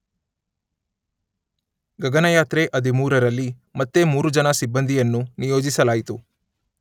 ಗಗನಯಾತ್ರೆ ಹದಿಮೂರರಲ್ಲಿ ಮತ್ತೆ ಮೂರು ಜನ ಸಿಬ್ಬಂದಿಯನ್ನು ನಿಯೋಜಿಸಲಾಯಿತು.